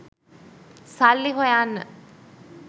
සල්ලි හොයන්න